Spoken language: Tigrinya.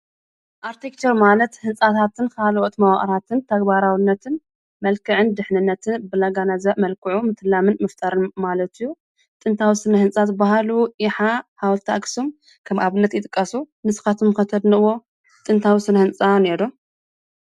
ኣርክቴክቸር ማለት ህንፃታትን ካልኦት መዋእላትን ተግባራውነትን መልክዕን ድሕንነትን ብዘገናዘበ መልክዑ ምቕላምን ምፍጣርን ማለት እዩ። ስነ-ህንፃ ዝበሃሉ ይሓ፣ ሓወልቲ ኣክሱም ኣብ ኣብነት ይጥቀሱ ። ንስካትኩም ከተድንቅዎም እኒሀው ዶ?